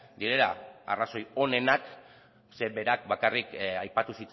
direla arrazoi onenak zeren berak bakarrik aipatu